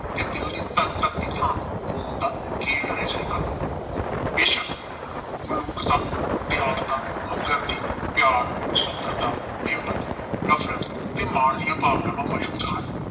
ਤੇ ਦਿਲ ਦੀ ਧਕ-ਧਕ ਦੀ ਥਾਂ ਖੂਨ ਦਾ ਗੇੜ ਰਹਿ ਜਾਏਗਾ। ਬੇਸ਼ੱਕ ਮਲੂਕਤਾ, ਦਿਆਲਤਾ, ਹਮਦਰਦੀ, ਪਿਆਰ, ਸੁੰਦਰਤਾ, ਹਿੰਮਤ, ਨਫ਼ਰਤ ਤੇ ਮਾਣ ਦੀਆਂ ਭਾਵਨਾਵਾਂ ਮੌਜੂਦ ਹਨ।